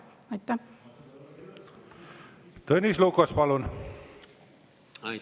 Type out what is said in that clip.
Tõnis Lukas, palun!